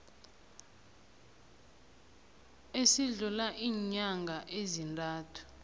esidlula iinyanga ezintathu